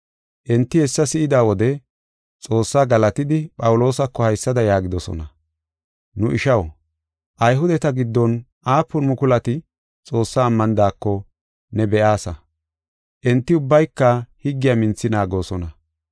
Enti hessa si7ida wode Xoossaa galatidi Phawuloosako haysada yaagidosona: “Nu ishaw, Ayhudeta giddon aapun mukulati Xoossaa ammanidako ne be7aasa; enti ubbayka higgiya minthi naagoosona.